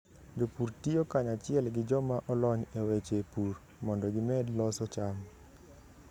Jopur tiyo kanyachiel gi joma olony e weche pur mondo gimed loso cham.